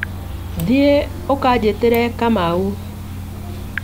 Thiĩ ũkanjĩtĩre Kamau